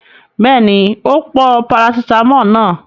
Bẹ́ẹ̀ni, ó pọ parasítámọ̀ náà.